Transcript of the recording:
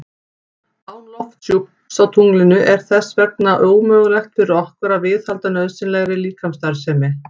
Án lofthjúps á tunglinu er þess vegna ómögulegt fyrir okkur að viðhalda nauðsynlegri líkamsstarfsemi.